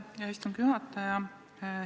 Aitäh, hea istungi juhataja!